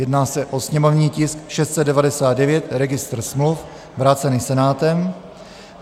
Jedná se o sněmovní tisk 699, registr smluv, vrácený Senátem.